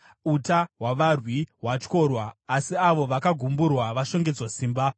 “Uta hwavarwi hwatyorwa, asi avo vakagumburwa vashongedzwa simba.